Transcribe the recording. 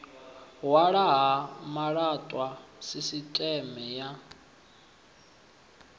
hwalwa ha malaṱwa sisiṱeme ya